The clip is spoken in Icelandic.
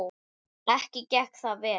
Ekki gekk það vel.